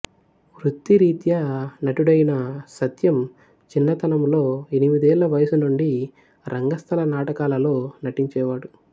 వృత్తిరీత్యా నటుడైన సత్యం చిన్నతనములో ఎనిమిదేళ్ల వయసునుండి రంగస్థల నాటకాలలో నటించేవాడు